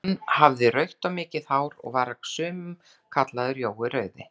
Hann hafði rautt og mikið hár, og var af sumum kallaður Jói rauði.